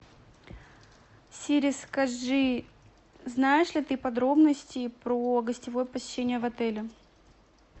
сири скажи знаешь ли ты подробности про гостевое посещение в отеле